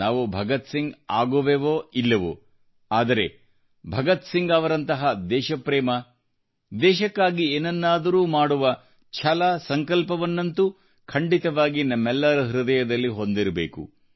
ನಾವು ಭಗತ್ಸಿಂಗ್ರಂತೆ ಆಗುವೆವೋ ಇಲ್ಲವೋ ಆದರೆ ಭಗತ್ಸಿಂಗ್ರವರ ದೇಶಪ್ರೇಮ ದೇಶಕ್ಕಾಗಿ ಏನನ್ನಾದರೂ ಮಾಡುವ ಛಲಸಂಕಲ್ಪವನ್ನಂತೂ ಖಂಡಿತವಾಗಿಯೂ ನಮ್ಮೆಲ್ಲರ ಹೃದಯದಲ್ಲಿ ಹೊಂದಿರಬೇಕು